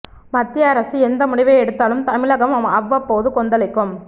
மத்திய அரசு எந்த முடிவை எடுத்தாலும் தமிழகம் அவ்வப்போது கொந்தளிக்கும்